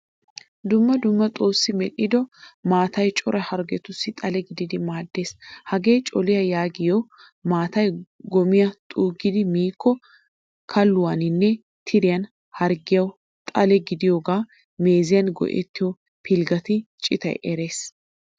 Dumma dumma xoossi medhdhido maataay cora harggetussi xale gididi maaddees. Hagee col'iya yaagiyo maataay gom'iyaa xoggidi miiko kilahuwaanne tiriyaa harggiyawu xale gidiyoga meeziyan go'ettayo pilggetta citay erisees.